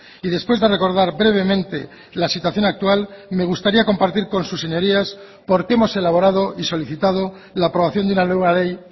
y después de recordar brevemente la situación actual me gustaría compartir con sus señorías por qué hemos elaborado y solicitado la aprobación de una nueva ley